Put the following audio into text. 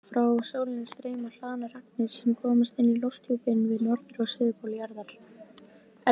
Frá sólinni streyma hlaðnar agnir sem komast inn í lofthjúpinn við norður- og suðurpól jarðar.